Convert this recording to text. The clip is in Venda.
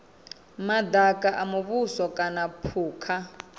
madaka a muvhuso kana phukha